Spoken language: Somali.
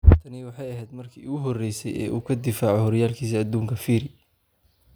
Tani waxay ahayd markii ugu horeysay ee uu ka difaaco horyaalkiisa adduunka Phiri.